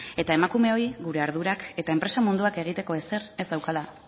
eta emakumeoi gure ardurak eta enpresa munduak egiteko ezer ez daukala